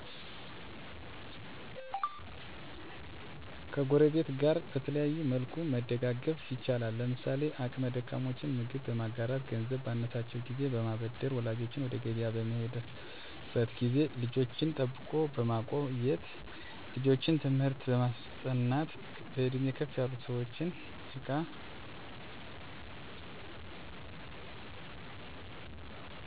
ከጎረቤት ጋር በተለያየ መልኩ መደጋገፍ ይቻላል። ለምሳሌ አቅመ ደካሞችን ምግብ በማጋራት ገንዘብ ባነሳቸው ጊዜ በማበደር ወላጆች ወደ ገቢያ በሚሄዱበት ጊዜ ልጅን ጠብቆ በማቆየት ልጆችን ትምህርት በማስጠናት በእድሜ ከፍ ያሉ ሰዎችን እቃ ተሸክሞ በማገዝ ተጨማሪ ጉልበት የሚጠይቅ ስራ ሲኖር የተሻለ ሰው እንዲሰራው በማድረግ ልጅ በሚወልዱበት ጊዜ ቤት ማፅዳት ምግብ መስራት ቡና ማፍላትና ወደ ገቢያ በመላላክ መደጋገፍ ይቻላል።